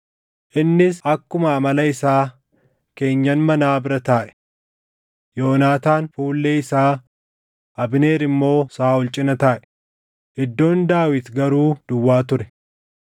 Innis akkuma amala isaa keenyan manaa bira taaʼe; Yoonaataan fuullee isaa, Abneer immoo Saaʼol cina taaʼe; iddoon Daawit garuu duwwaa ture.